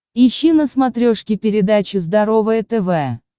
ищи на смотрешке передачу здоровое тв